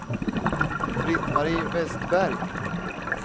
Britt-Marie Vestberg